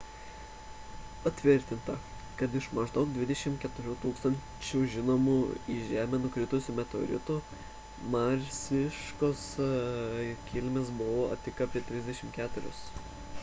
patvirtinta kad iš maždaug 24 000 žinomų į žemę nukritusių meteoritų marsiškos kilmės buvo tik apie 34